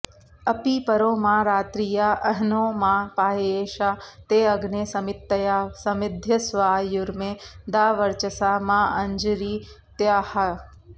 अपी॑परो मा॒ रात्रि॑या॒ अह्नो॑ मा पाह्ये॒षा ते॑ अग्ने स॒मित्तया॒ समि॑ध्य॒स्वायु॑र्मे दा॒ वर्च॑सा माऽंजी॒रित्या॑ह